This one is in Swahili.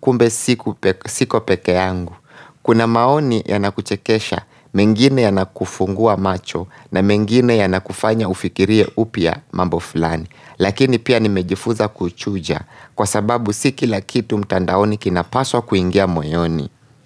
kumbe siku pe siko peke yangu Kuna maoni yanakuchekesha, mengine yanakufungua macho na mengine yanakufanya ufikirie upya mambo fulani Lakini pia nimejifuza kuchuja Kwa sababu siki lakitu mtandaoni kina paswa kuingia moyoni.